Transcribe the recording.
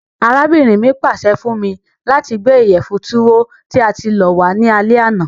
Arábìnrin mi pàse fun mi lati gbé ìyẹ̀fun Tuwo tí a ti lọ̀ wa ni alẹ àná.